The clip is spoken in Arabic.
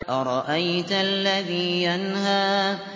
أَرَأَيْتَ الَّذِي يَنْهَىٰ